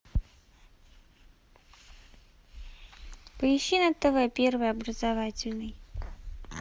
поищи на тв первый образовательный